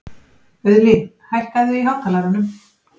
Auðlín, hækkaðu í hátalaranum.